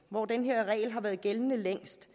hvor den her regel har været gældende længst